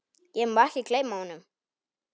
Ég má ekki gleyma honum.